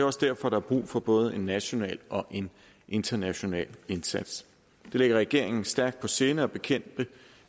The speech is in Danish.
også derfor der er brug for både en national og international indsats det ligger regeringen stærkt på sinde at bekæmpe